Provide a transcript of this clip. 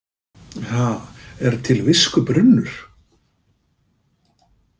Ha, er til viskubrunnur?